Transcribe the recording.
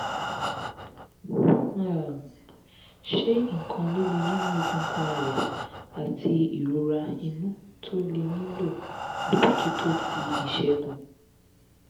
um ṣé nkan lile ninu egungun aya ati irora inu to le nilo abojuto ti isegun?